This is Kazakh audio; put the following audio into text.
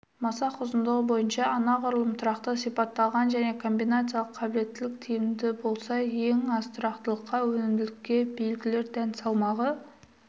масақ ұзындығы бойынша анағұрлым тұрақты сипатталған жалпы комбинациялық қабілеттілік тиімді болса ең аз тұрақтылыққа өнімділік белгілер дән салмағы